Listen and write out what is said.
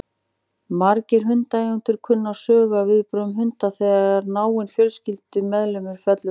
Margir hundaeigendur kunna sögur af viðbrögðum hunda þegar náinn fjölskyldumeðlimur fellur frá.